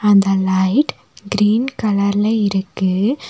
அந்த light green colour ல இருக்கு.